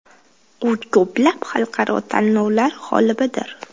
U ko‘plab xalqaro tanlovlar g‘olibidir.